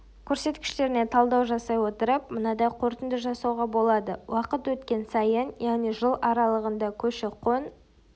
көрсеткіштеріне талдау жасай отырып мынадай қорытынды жасауға болады уақыт өткен сайын яғни жыл аралығында көші-қон